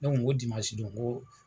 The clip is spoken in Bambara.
o dimansi don ko